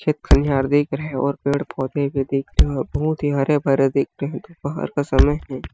खेत खनीयर देख रहा है और पेड़-पौधे भी देख रहे हे बहोत ही हरे-भरे देख रहे हो दोपहर का समय है।